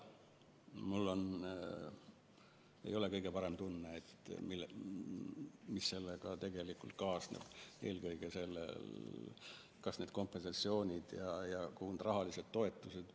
Mul ei ole kõige parem tunne selle pärast, mis sellega kaasneb, eelkõige kompensatsioonide ja rahaliste toetuste suhtes.